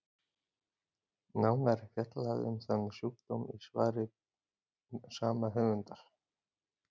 nánar er fjallað um þann sjúkdóm í svari sama höfundar